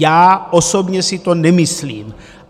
Já osobně si to nemyslím.